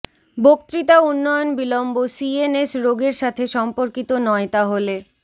বক্তৃতা উন্নয়ন বিলম্ব সিএনএস রোগ এর সাথে সম্পর্কিত নয় তাহলে